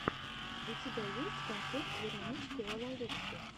у тебя есть концерт веронички лалалупси